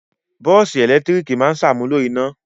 Bọ́ọ́sì ẹ̀lẹ́tíríkì máa ṣàmúlò iná.